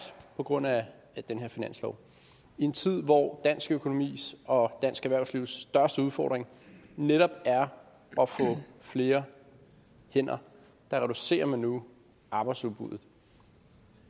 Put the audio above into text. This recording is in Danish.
på grund af den her finanslov i en tid hvor dansk økonomi og dansk erhvervslivs største udfordring netop er at få flere hænder reducerer man nu arbejdsudbuddet